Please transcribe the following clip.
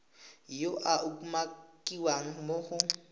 yo a umakiwang mo go